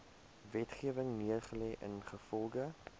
wetgewing neergelê ingevolge